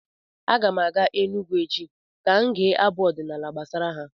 Aga m aga Enugwu echi ka m gee abụ ọdịnaala gbasara ha.